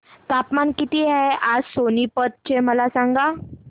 तापमान किती आहे आज सोनीपत चे मला सांगा